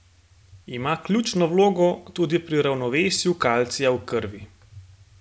Ima ključno vlogo tudi pri ravnovesju kalcija v krvi.